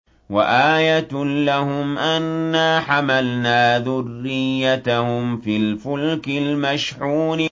وَآيَةٌ لَّهُمْ أَنَّا حَمَلْنَا ذُرِّيَّتَهُمْ فِي الْفُلْكِ الْمَشْحُونِ